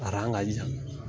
A ka jan.